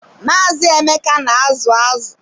Maazị Emeka na azu azụ.